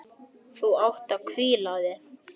Þú átt að hvíla þig.